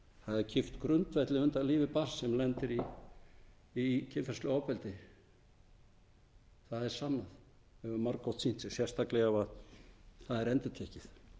það er kippt grundvelli undan lífi barns sem lendir í kynferðislegu ofbeldi það er sannað og hefur margoft sýnt sig sérstaklega ef það er endurtekið